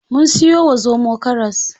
Mun siyo wa zomo karas.